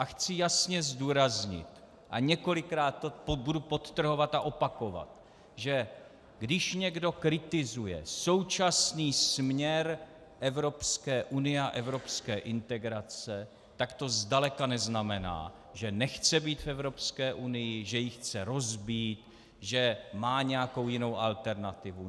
A chci jasně zdůraznit a několikrát to budu podtrhovat a opakovat, že když někdo kritizuje současný směr Evropské unie a evropské integrace, tak to zdaleka neznamená, že nechce být v Evropské unii, že ji chce rozbít, že má nějakou jinou alternativu.